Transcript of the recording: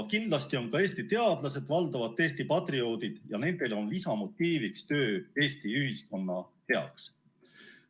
Kindlasti on ka Eesti teadlased valdavalt Eesti patrioodid ja nende lisamotiiv on töö Eesti ühiskonna heaks.